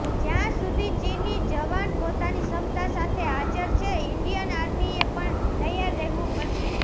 જ્યાં સુધી ચીની જવાન પોતાની ક્ષમતા સાથે હાજર છે ઈન્ડિયન આર્મીએ પણ તૈયાર રહેવુ પડશે